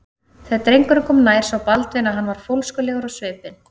Þegar drengurinn kom nær sá Baldvin að hann var fólskulegur á svipinn.